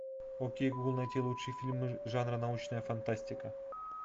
окей гугл найти лучшие фильмы жанра научная фантастика